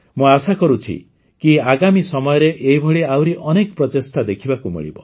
ମୁଁ ଆଶା କରୁଛି କି ଆଗାମୀ ସମୟରେ ଏହିଭଳି ଆହୁରି ଅନେକ ପ୍ରଚେଷ୍ଟା ଦେଖିବାକୁ ମିଳିବ